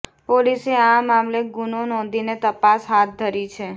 પોલીસે આ મામલે ગુનો નોંધીને તપાસ હાથ ધરી છે